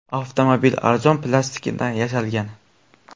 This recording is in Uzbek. Avtomobil arzon plastikdan yasalgan.